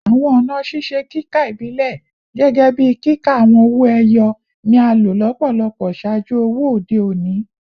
Awọn ọna ṣiṣe kika ibilẹ, gẹgẹbi kika awọn owo eyo, ni a lo lọpọlọpọ ṣaaju owo ode oni